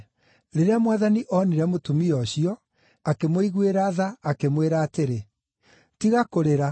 Rĩrĩa Mwathani onire mũtumia ũcio, akĩmũiguĩra tha, akĩmwĩra atĩrĩ, “Tiga kũrĩra.”